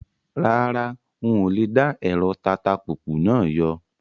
Rárá, ń ó ní lè dá ẹ̀rọ tatapùpù náà yọ.